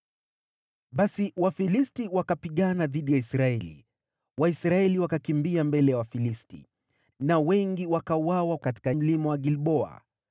Basi Wafilisti wakapigana na Israeli. Waisraeli wakawakimbia, na wengi wakauawa katika Mlima Gilboa.